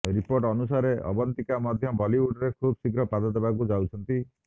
report ଅନୁସାରେ ଅବନ୍ତିକା ମଧ୍ୟ ବଲିଉଡରେ ଖୁବ୍ ଶୀଘ୍ର ପାଦ ଦେବାକୁ ଯାଉଛନ୍ତି